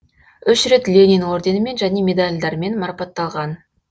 үш рет ленин орденімен және медалдармен марапатталған